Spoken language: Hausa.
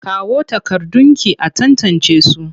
Kawo takardunki a tantancesu!